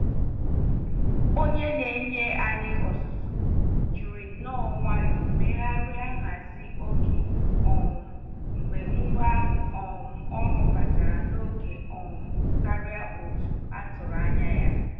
Onye Na-enye anyị ọzụzụ jiri nnọọ nwayọ megharịa nhazi oge um mgbe ngwa um ọrụ batara na oge um karịa otu atụrụ anya ya